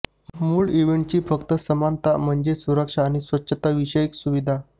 मूळ इव्हेंटची फक्त समानता म्हणजे सुरक्षा आणि स्वच्छताविषयक सुविधा